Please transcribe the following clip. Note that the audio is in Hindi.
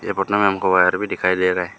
ये फोटो में हमको वायर भी दिखाई दे रहा है।